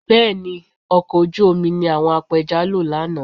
Bẹ́ẹ̀ ni, ọkọ̀ ojú omi ni àwọn apẹja lò lánàá